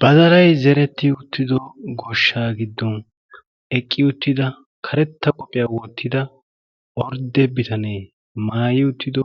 badalay zeretti uttido goshshaa giddon eqqi uttida karetta qophiyaa woottida ordde bitanee maayi uttido